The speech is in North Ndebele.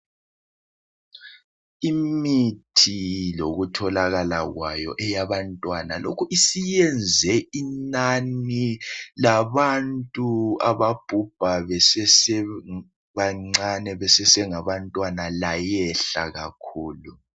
Imithi yokutholakala kwayo yabantwana lokhu isiyenze inani labantu ababhubha besebancane besesengabantwana layehle kakhulu